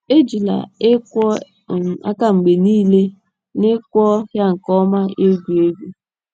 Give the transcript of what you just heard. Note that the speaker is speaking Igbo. Ejikwala ịkwọ um aka mgbe niile niile na ịkwọ um ya nke ọma egwu egwu um.